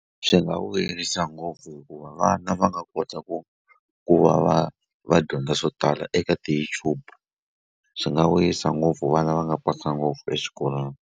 Swi nga vuyerisa ngopfu hikuva vana va nga kota ku ku va va va dyondza swo tala eka ti-YouTube swi nga vuyisa ngopfu vana va nga pasa ngopfu exikolweni.